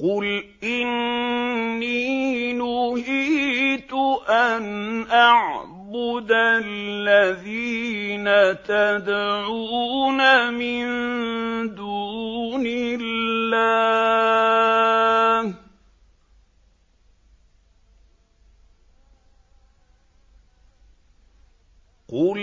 قُلْ إِنِّي نُهِيتُ أَنْ أَعْبُدَ الَّذِينَ تَدْعُونَ مِن دُونِ اللَّهِ ۚ قُل